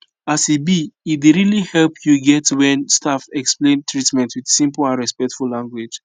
as e be e dey really help you get when staff explain treatment with simple and respectful language